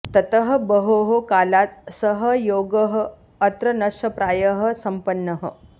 ततः बहोः कालात् सः योगः अत्र नष्टप्रायः सम्पन्नः